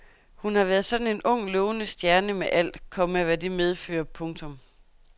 Hun har været sådan en ung lovende stjerne med alt, komma hvad det medfører. punktum